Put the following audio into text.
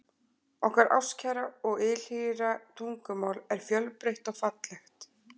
Okkar ástkæra og ylhýra tungumál er fjölbreytt og fallegt.